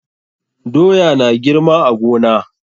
Doya na girma a gona.